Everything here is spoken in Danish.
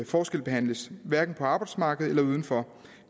forskelsbehandles hverken på arbejdsmarkedet eller uden for